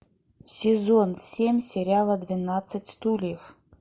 сезон семь сериала двенадцать стульев